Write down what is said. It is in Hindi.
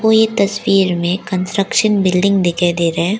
कोई तस्वीर में कंस्ट्रक्शन बिल्डिंग दिखाई दे रहा है।